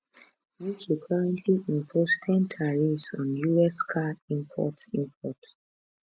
uk currently impose ten tariff on us car imports imports